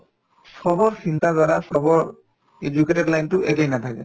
চবৰ চিন্তাধাৰা চবৰ educated line তো একেই নাথাকে